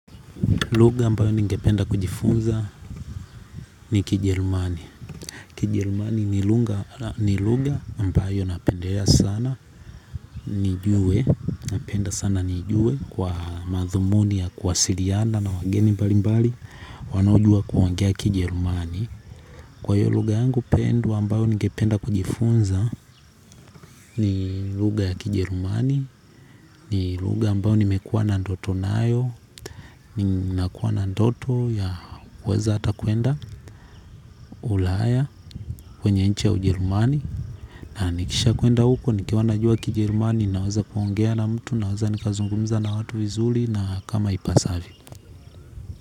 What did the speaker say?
Lugha ambayo ningependa kujifunza ni kijerumani. Kijerumani ni lugha ambayo napendea sana nijue napenda sana nijue kwa mathumuni ya kuwasiliana na wageni mbali mbali wanaojua kuongea kijerumani kwa hio lugha yangu pendwa ambayo ningependa kujifunza ni lugha ya kijerumani. Ni lugha ambayo nimekua na ndoto nayo nakua na ndoto ya kuweza ata kuenda ulaya kwenye nchi ya ujerumani. Na nikisha kuenda huko nikiwa najua kijerumani. Naweza kuongea na mtu naweza nikazungumza na watu vizuri na kama ipasavyo.